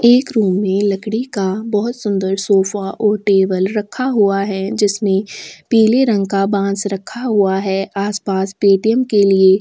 एक रूम में लकड़ी का बहोत सुन्दर सोफा और टेबल रखा हुआ है जिसमें पीले रंग का बांस रखा हुआ है आस-पास पेटीएम् के लिए--